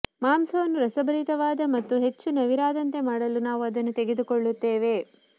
ಮಾಂಸವನ್ನು ರಸಭರಿತವಾದ ಮತ್ತು ಹೆಚ್ಚು ನವಿರಾದಂತೆ ಮಾಡಲು ನಾವು ಅದನ್ನು ತೆಗೆದುಕೊಳ್ಳುತ್ತೇವೆ